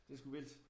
Det sgu vildt